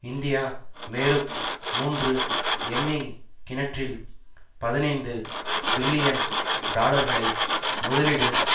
India மேலும் மூன்று எண்ணெய் கிணற்றில் பதினைந்து பில்லியன் டாலர்களை முதலீடு